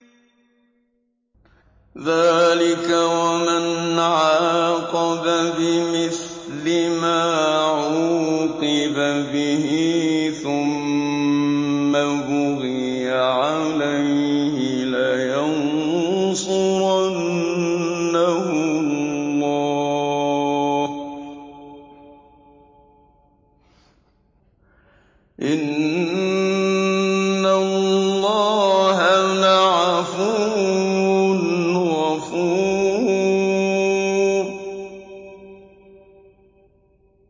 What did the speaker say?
۞ ذَٰلِكَ وَمَنْ عَاقَبَ بِمِثْلِ مَا عُوقِبَ بِهِ ثُمَّ بُغِيَ عَلَيْهِ لَيَنصُرَنَّهُ اللَّهُ ۗ إِنَّ اللَّهَ لَعَفُوٌّ غَفُورٌ